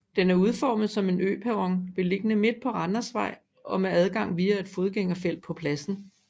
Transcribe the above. Den er udformet som en øperron beliggende midt på Randersvej og med adgang via et fodgængerfelt på pladsen